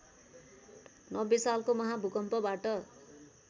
नब्बे सालको महाभूकम्पबाट